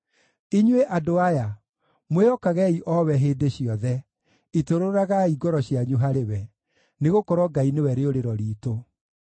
Inyuĩ andũ aya, mwĩhokagei o we hĩndĩ ciothe; itũrũragai ngoro cianyu harĩ we, nĩgũkorwo Ngai nĩwe rĩũrĩro riitũ.